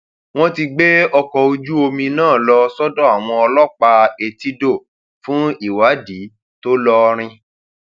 wọn ti gbé ọkọ ojúomi náà lọ sọdọ àwọn ọlọpàá etídò fún ìwádìí tó lọọrìn